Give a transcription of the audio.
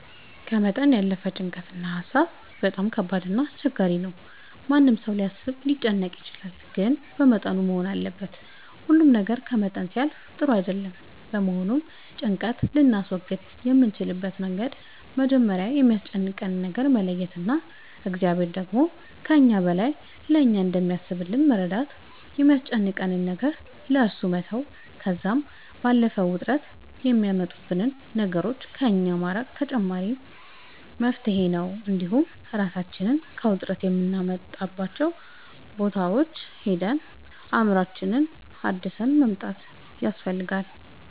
ከመጠን ያለፈ ጭንቀት እና ሀሳብ በጣም ከባድ እና አስቸጋሪ ነው ማንም ሰው ሊያስብ ሊጨነቅ ይችላል ግን በመጠኑ መሆን አለበት ሁሉ ነገር ከመጠን ሲያልፍ ጥሩ አይደለም በመሆኑም ጭንቀት ልናስወግድ የምንችልበት መንገድ መጀመሪያ የሚያስጨንቀንን ነገር መለየት እና እግዚአብሔር ደግሞ ከእኛ በላይ ለእኛ እንደሚያስብልን በመረዳት የሚያስጨንቀንን ነገር ለእሱ መተው ከዛም ባለፈ ውጥረት የሚያመጡብንን ነገሮች ከእኛ ማራቅ ተመራጭ መፍትሄ ነው እንዲሁም እራሳችንን ከውጥረት የምናወጣባቸው ቦታዎች ሄደን አእምሮአችንን አድሰን መምጣት